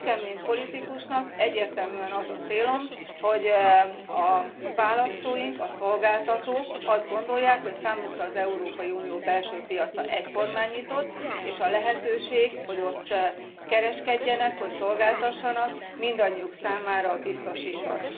Nekem mint politikusnak egyértelműen az a célom, hogy a választóink, a szolgáltatók azt gondolják, hogy számukra az Európai Unió belső piaca egyformán nyitott, és a lehetőség, hogy ott kereskedjenek, hogy szolgáltassanak, mindannyiuk számára biztosított.